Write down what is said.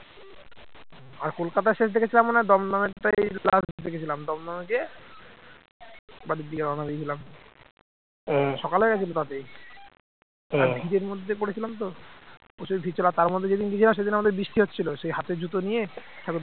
আমাদের যেদিন বিজয়া সেদিন আমাদের বৃষ্টি হচ্ছিল সেই হাতে জুতো নিয়ে ঠাকুর